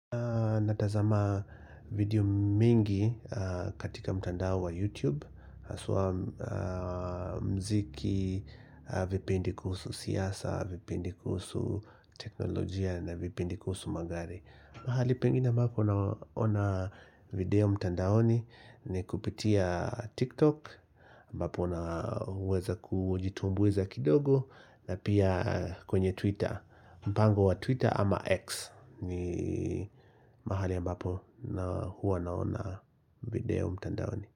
Natazama video mingi katika mtandao wa YouTube haswa mziki, vipindi kuhusu siasa, vipindi kuhusu teknolojia na vipindi kuhusu magari. Mahali pengine ambapo naona video mtandaoni ni kupitia TikTok ambapo naweza kujitumbuiza kidogo na pia kwenye Twitter. Mpango wa Twitter ama X ni mahali ambapo na huwa naona video mtandaoni.